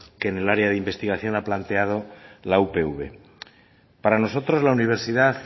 que en área de investigación ha planteado la upv para nosotros la universidad